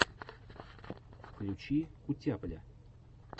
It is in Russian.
включи кутяпля